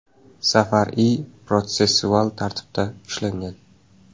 Zafar I. protsessual tartibda ushlangan.